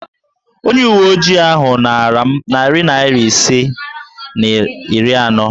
Onye uwe ojii ahụ naara m nari naịra isi na iri anọ.